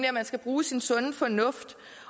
at man skal bruge sin sunde fornuft